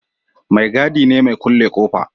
Mai gadi ne mai kulle ƙofa